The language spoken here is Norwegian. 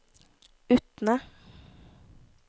Utne